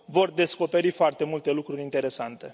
Vor descoperi foarte multe lucruri interesante.